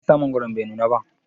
Meyasa mangwaron bai nuna ba?